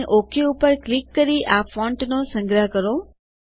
અને ok button ઉપર click કરી આ ફોન્ટનો સંગ્રહ કરો